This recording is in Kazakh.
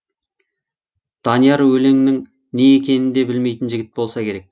данияр өлеңнің не екенін де білмейтін жігіт болса керек